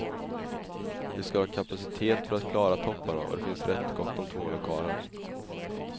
Vi skall ha kapacitet för att klara topparna och det finns rätt gott om tomma lokaler.